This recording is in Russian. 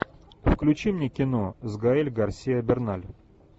включи мне кино с гаэль гарсиа берналь